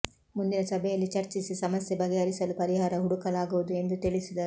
ಮುಂದಿನ ಸಭೆಯಲ್ಲಿ ಚರ್ಚಿಸಿ ಸಮಸ್ಯೆ ಬಗೆಹರಿಸಲು ಪರಿಹಾರ ಹುಡು ಕಲಾಗುವುದು ಎಂದು ತಿಳಿಸಿದರು